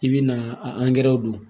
I bɛ na a don